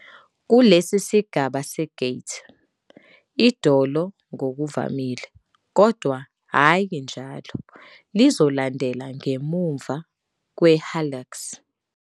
Kulesi sigaba se-gait, idolo ngokuvamile, kodwa hhayi njalo, lizolandela ngemuva kwe-hallux.